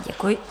Děkuji.